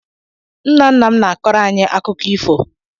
Nna nna m na-akọrọ anyị akụkọ ifo.